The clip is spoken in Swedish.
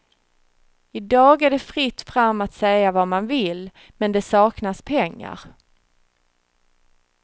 I dag är det fritt fram att säga vad man vill, men det saknas pengar.